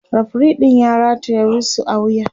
referee ɗin ya rataya wisu a wuya